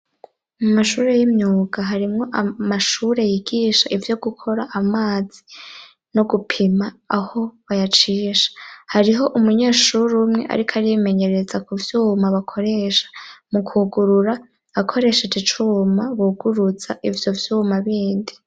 Mu mashuri y'imyuga harimwo amashure yigisha ivyo gukora amazi no gupima aho bayacisha. Hariho umunyeshure umwe ariko ari arimenyereza ko vyuma bakoresha mu kwugurura akoresheje icuma buguruza ivyo vyuma bindi.